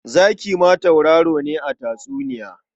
Zaki ma tauraro ne a tatsuniya.